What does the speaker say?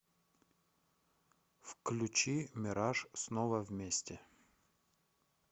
включи мираж снова вместе